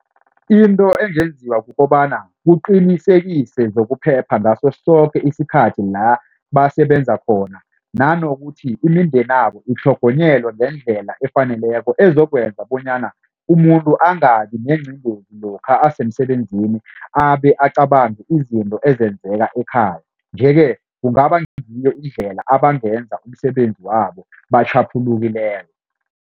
Into engenziwa kukobana kuqinisekise zokuphepha ngaso soke isikhathi la basebenza khona. Nanokuthi imindenabo itlhogonyelwe ngendlela efaneleko ezokwenza bonyana umuntu angabi nezingozi lokha asemsebenzini abe acabanga izinto ezenzeka ekhaya. Nje-ke kungaba ngiyo indlela abangenza umsebenzi wabo batjhaphulukileko.